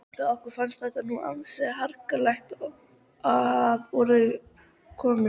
Okkur fannst þetta nú ansi harkalega að orði komist.